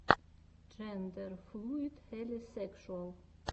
джендерфлуид хелисекшуал